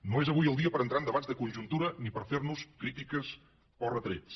no és avui el dia per a entrar en debats de conjuntura ni per a fer nos crítiques o retrets